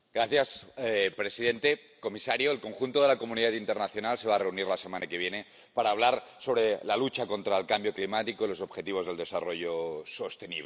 Señor presidente, señor comisario, el conjunto de la comunidad internacional se va a reunir la semana que viene para hablar sobre la lucha contra el cambio climático y los objetivos del desarrollo sostenible.